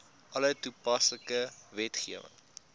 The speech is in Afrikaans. alle toepaslike wetgewing